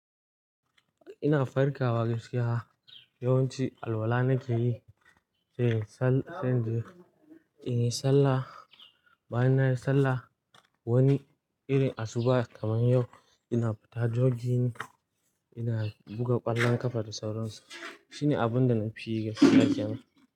Ina farkawa gaskiya, yawanci alwala nake yi, sai in yi sallah. Bayan nayi sallah, wani irin asuba kaman yau ina fita jogging ina buga ƙwallon ƙafa da sauransu. Shine abun da na fi yi gaskiya kenan.